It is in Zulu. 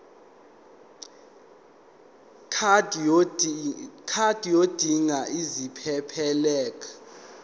card yodinga isiphephelok